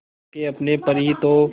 खो के अपने पर ही तो